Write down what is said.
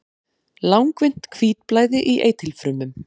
langvinnt hvítblæði í eitilfrumum